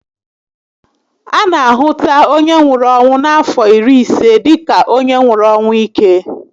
A na a hụta onye nwụrụ ọnwụ n'afọ iri ise dịka onye nwụrụ ọnwụ íke